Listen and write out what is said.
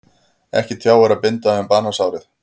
Ekki tjáir að binda um banasárið.